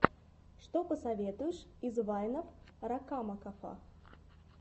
что посоветуешь из вайнов ракамакафо